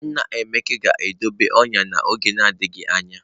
Nna Emeka ga-adọba ọnyà n’oge na-adịghị anya